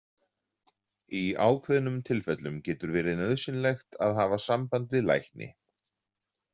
Í ákveðnum tilfellum getur verið nauðsynlegt að hafa samband við lækni.